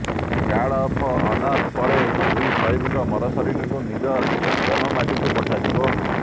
guard of honour ପରେ ଦୁଇ ସହିଦଙ୍କ ମରଶରୀରକୁ ନିଜ ଜନ୍ମମାଟିକୁ ପଠାଯିବ